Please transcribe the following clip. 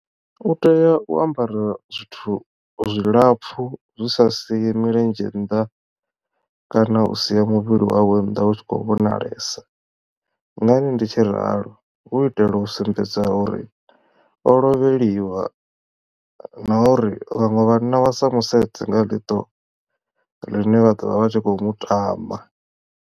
U tea u ambara zwithu zwilapfhu zwi sa sie milenzhe nnḓa kana u sia muvhili wawe nnḓa u tshi khou vhonalesa ngani ndi tshi ralo hu itela u sumbedza uri o lovheliwa na uri vhaṅwe vhanna vha sa musedze nga ḽiṱo ḽine vha ḓovha vha tshi kho mutama.